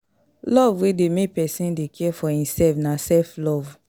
Love wey de make persin de care for imself na self love